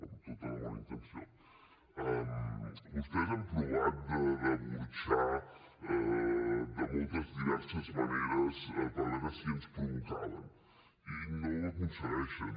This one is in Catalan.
amb tota la bona intenció vostès han provat de burxar de moltes diverses maneres per veure si ens provocaven i no ho aconsegueixen